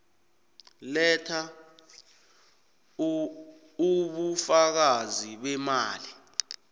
letha ubufakazi beemali